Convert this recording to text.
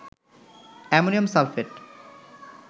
ammonium sulphate